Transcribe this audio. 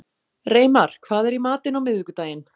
Reimar, hvað er í matinn á miðvikudaginn?